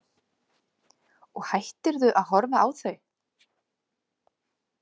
Og hættirðu að horfa á þau?